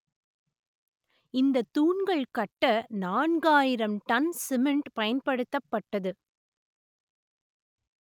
இந்த தூண்கள் கட்ட நான்காயிரம் டன் சிமெண்ட் பயன்படுத்தப்பட்டது